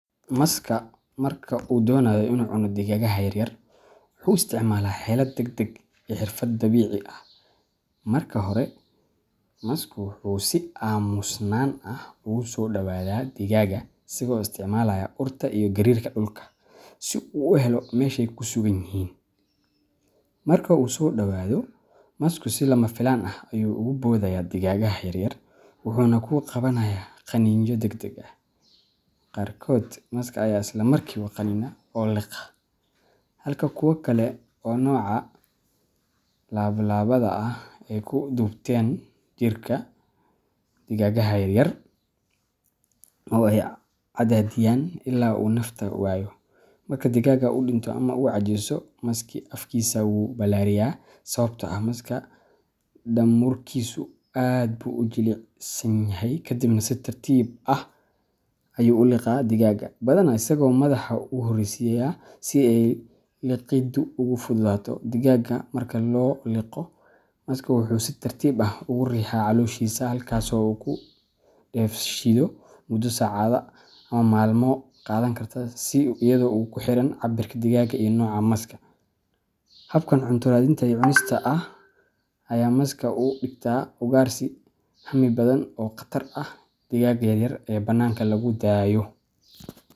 Maska marka uu doonayo inuu cuno digaagga yaryar, wuxuu isticmaalaa xeelad degdeg iyo xirfad dabiici ah. Marka hore, masku wuxuu si aamusnaan ah ugu soo dhowaadaa digaagga isagoo isticmaalaya urta iyo gariirka dhulka si uu u helo meeshay ku sugan yihiin. Marka uu u soo dhowaado, masku si lama filaan ah ayuu ugu boodayaa digaagga yaryar, wuxuuna ku qabanayaa qaniinyo degdeg ah. Qaarkood maska ayaa isla markiiba qaniina oo liqa, halka kuwa kale oo nooca laab-labada ah ay ku duubtaan jirka digaagga yaryar oo ay cadaadiyaan ilaa uu ka neefta waayo. Marka digaagga uu dhinto ama uu caajiso, masku afkiisa wuu balaariyaa sababtoo ah maska daamurkiisu aad buu u jilicsan yahay kadibna si tartiib ah ayuu u liqaa digaagga, badanaa isagoo madaxa u horeysiiyay si ay liqiddu ugu fududaato. Digaagga marka la liqo, masku wuxuu si tartiib ah ugu riixaa calooshiisa halkaasoo uu ku dheefshiido muddo saacadood ama maalmo qaadan karta iyadoo ku xiran cabbirka digaagga iyo nooca maska. Habkan cunto raadinta iyo cunista ah ayaa maska uga dhigta ugaarsi hami badan oo khatar ku ah digaagga yaryar ee bannaanka lagu daayo.